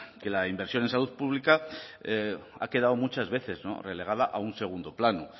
que la inversión en salud pública ha quedado muchas veces relegada a un segundo plano